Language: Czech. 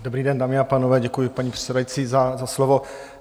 Dobrý den, dámy a pánové, děkuji, paní předsedající za slovo.